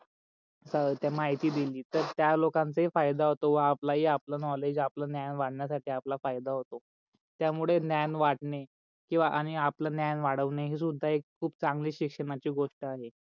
तर माहिती दिली तर त्या लोकानंच ही फायदा होतो व आपला ही नॉलेज आपला ज्ञान वाडण्यासाठी आपला फायदा होतो. त्या मूळे ज्ञान वाडणे किवा आणि आपल ज्ञान वाडवने हे सुद्धा एक खूप चांगली शिक्षणाची गोष्ट आहे.